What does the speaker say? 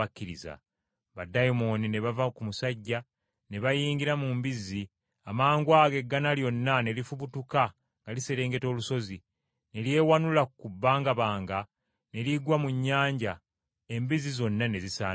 Baddayimooni ne bava ku musajja ne bayingira mu mbizzi, amangwago eggana lyonna ne lifubutuka nga liserengeta olusozi, ne lyewanula ku bbangabanga, ne ligwa mu nnyanja, embizzi zonna ne zisaanawo.